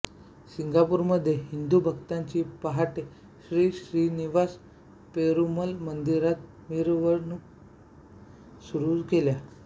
सिंगापूरमध्ये हिंदु भक्तांनी पहाटे श्री श्रीनिवास पेरुमल मंदिरात मिरवणुका सुरू केल्या